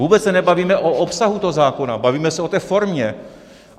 Vůbec se nebavíme o obsahu toho zákona, bavíme se o té formě.